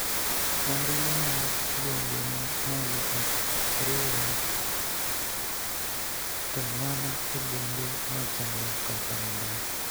Ombulu mar gwenge ma malo ok oriwre to mana e bombe machalo kaka Mombasa